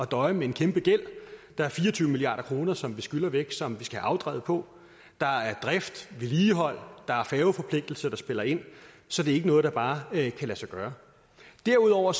døje med en kæmpegæld der er fire og tyve milliard kr som vi skylder væk som vi skal have afdraget på der er drift vedligehold der er færgeforpligtelser der spiller ind så det er ikke noget der bare kan lade sig gøre derudover